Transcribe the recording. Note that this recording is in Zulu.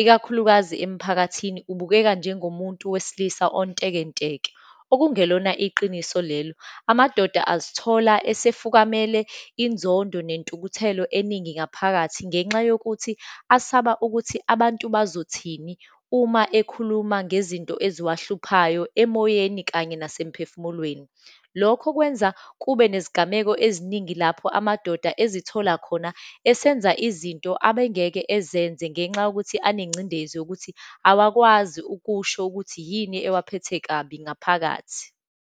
ikakhulukazi emphakathini, ubukeka njengomuntu wesilisa ontekenteke, okungelona iqiniso lelo. Amadoda azothola esefukamele inzondo nentukuthelo eningi ngaphakathi, ngenxa yokuthi asaba ukuthi abantu bazothini uma ekhuluma ngezinto eziwahluphayo emoyeni, kanye nasemphefumulweni. Lokho kwenza kube nezigameko eziningi lapho amadoda ezithola khona esenza izinto abengeke ezenze, ngenxa yokuthi anengcindezi yokuthi awakwazi ukusho ukuthi yini ewaphethe kabi ngaphakathi.